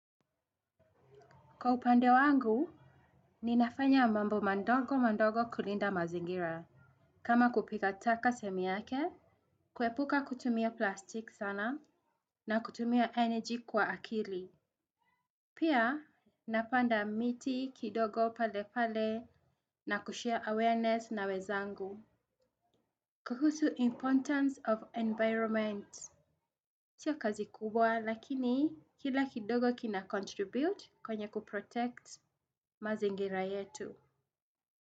Kwa upande wangu ninafanya mambo madogo madogo kulinda mazingira. Kama kupika taka sehemu yake. Kuepuka kutumia plastik sana na kutumia energy kwa akili. Pia napanda miti kidogo pale pale. Na kushare awareness na wenzangu. Kuhusu importance of environment sio kazi kubwa lakini kila kidogo kinacontribute kwenye kuprotect mazingira yetu.